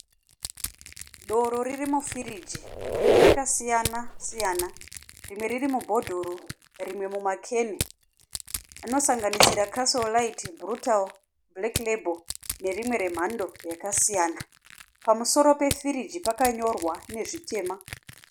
Doro riri mufiriji. Rakasiyana siyana. Rimwe riri mubhodhoro rimwe mumakeni. Rinosanganisira casol lite, brutal, black label nerimwe remhando yakasiyana. Pamusoro pefiriji pakanyorwa nezvitema.